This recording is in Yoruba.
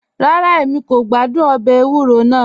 Rárá, Èmi kò gbàdún òbè èwúrọ̀ náà